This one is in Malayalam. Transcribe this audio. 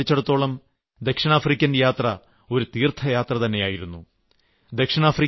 പക്ഷേ എന്നെ സംബന്ധിച്ചിടത്തോളം ദക്ഷിണാഫ്രിക്കൻ യാത്ര ഒരു തീർത്ഥയാത്രതന്നെയായിരുന്നു